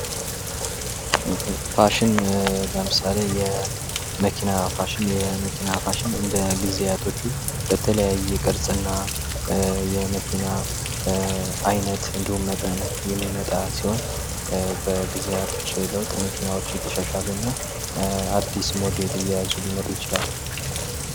ፋሽን ለምሳሌ የመኪና ፋሽን፦ የመኪና ፋሽን እንደ ጊዜያቶቹ በተለያየ ቅርጽና የመኪና አይነትና መጠን የሚመጣ ሲሆን በጊዜያቶች ለውጥ መኪኖች እየተሻሻሉና አዲስ ሞዴል እየያዙ ሊመጡ ይችላሉ።